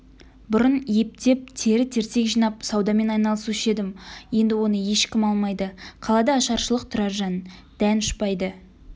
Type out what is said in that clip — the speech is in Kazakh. бұрын ептеп тері-терсек жинап саудамен айналысушы едім енді оны ешкім алмайды қалада ашаршылық тұраржан дән ұшпайды